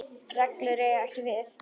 reglur eiga ekki við.